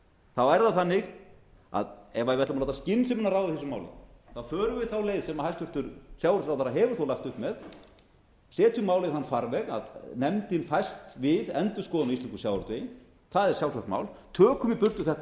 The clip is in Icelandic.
þá er það þannig að ef við ætlum að láta skynsemina ráða í þessu máli þá förum við þá leið sem hæstvirtur sjávarútvegsráðherra hefur þó lagt upp með setjum málið í þann farveg að nefndin fæst við endurskoðun á íslenskum sjávarútvegi það er sjálfsagt mál tökum í burtu þetta